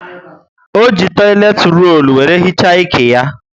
ọ jị toileti rollu were hichaa ike ya